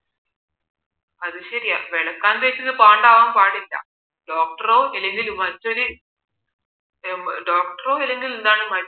അതു ശരിയാ വെളുക്കാൻ തേച്ചത് പാണ്ടവാൻ പാടില്ല doctor റോ അല്ലെങ്കിൽ മറ്റൊരു doctor റോ അല്ലെങ്കിൽ മറ്റൊരു